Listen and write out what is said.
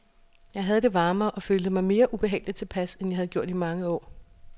Jeg havde det varmere og følte mig mere ubehageligt tilpas, end jeg havde gjort i mange år.